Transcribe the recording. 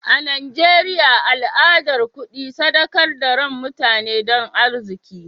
A Najeriya al'adar kudi sadakar da rain mutane don arziki.